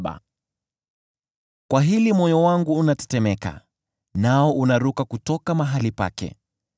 “Kwa hili moyo wangu unatetemeka, nao unaruka kutoka mahali pake.